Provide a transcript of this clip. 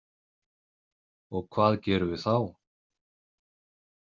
Og hvað gerum við þá?